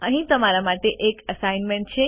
અહીં તમારા માટે એક એસાઈનમેન્ટ છે